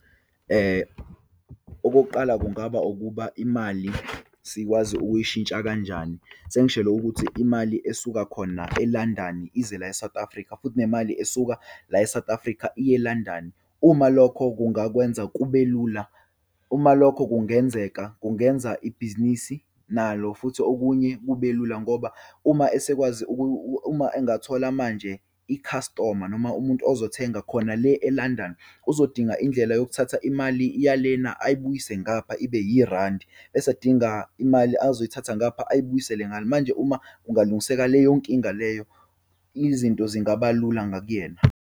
Okokuqala, kungaba ukuba imali sikwazi ukuyishintsha kanjani. Sengishelo ukuthi imali esuka khona e-London ize la e-South Africa, futhi nemali esuka la e-South Africa iye e-London. Uma lokho kungakwenza kube lula, uma lokho kungenzeka kungenza ibhizinisi nalo futhi okunye kube lula, ngoba uma esekwazi uma engathola manje, i-customer noma umuntu uzothenga khona le e-London, uzodinga indlela yokuthatha imali yalena ayibuyise ngapha ibe irandi, bese adinga imali azoyithatha ngapha ayibuyisele ngale. Manje uma kungalungiseka leyo nkinga leyo, izinto zingaba lula ngakuyena.